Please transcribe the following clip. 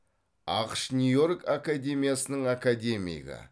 ақш нью йорк академиясының академигі